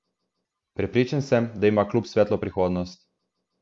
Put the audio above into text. Prepričan sem, da ima klub svetlo prihodnost.